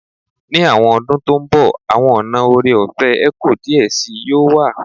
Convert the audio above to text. Ni awọn ọdun to nbo awọn ọna ore-ọfẹ eco diẹ sii yoo wa